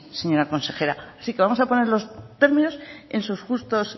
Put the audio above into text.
señora consejera así que vamos a poner